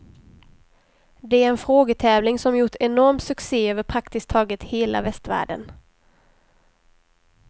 Det är en frågetävling som gjort enorm succe över praktiskt taget hela västvärlden.